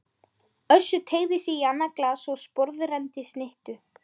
Össur teygði sig í annað glas og sporðrenndi snittu.